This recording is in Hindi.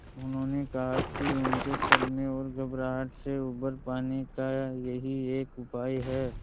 उन्होंने कहा कि उनके सदमे और घबराहट से उबर पाने का यही एक उपाय है